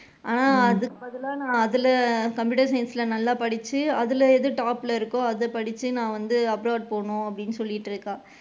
ஆஹ் அதுக்காகத்தான் நான் அதுல computer science ல நான் நல்லா படிச்சு அதுல எது top ல இருக்கோ அத படிச்சு நான் வந்து abroad போகணும் அப்படின்னு சொல்லிட்டு இருக்கா.